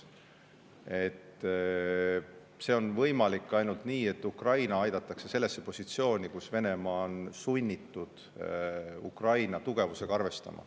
See on võimalik ainult nii, et Ukraina aidatakse sellesse positsiooni, kus Venemaa on sunnitud Ukraina tugevusega arvestama.